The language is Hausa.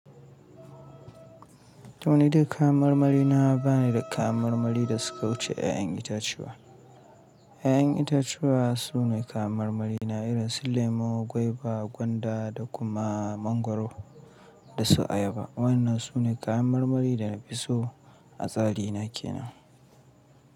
To ni dai kayan marmari na ba ni da kayan marmari da suka wuce ƴaƴan itatuwa. Yaƴan itatuwa su ne kayan marmari na irin su lemo, gwaiba, gwanda da kuma mangwaro da su ayaba. Wayannan su ne kayan marmari da na fi so a tsari na ke nan.